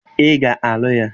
Ị ga-alụ ya!